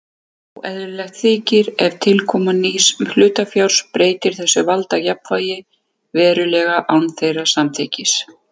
Óeðlilegt þykir ef tilkoma nýs hlutafjár breytti þessu valdajafnvægi verulega án þeirra samþykkis.